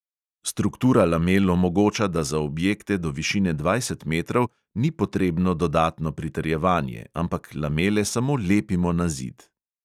Struktura lamel omogoča, da za objekte do višine dvajset metrov ni potrebno dodatno pritrjevanje, ampak lamele samo lepimo na zid.